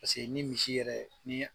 Paseke ni misi yɛrɛ ni